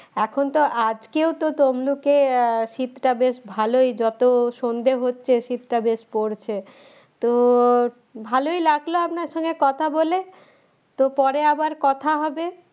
এখন তো আজকেও তো তমলুকে আহ শীতটা বেশ ভালই যত সন্ধে হচ্ছে শীতটা বেশ পরছে তো ভালই লাগলো আপনার সঙ্গে কথা বলে তো পরে আবার কথা হবে